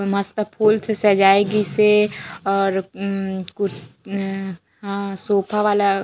अऊ मस्त फूल से सजाए गिसे और उम्म्म कुछ अ उम्म सोफ़ा वाला--